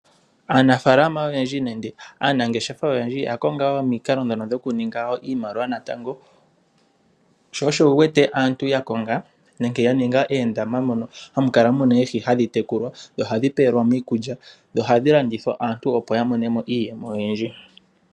Aanafalama nenge aanangeshefa oyendji oya konga omikalo dhoku ninga iimaliwa natango. Sho osho wuwete aantu ya ninga oondama mono hamu kala muna oohi hadhi tekulwa dho ohadhi pewelwamo iikulya. Ohadhi landithwa, opo aantu ya mone iiyemo oyindji.